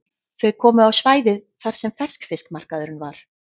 Þau komu á svæðið þar sem ferskfiskmarkaðurinn var.